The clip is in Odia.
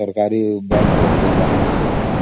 ସରକାରି bank ସବୁ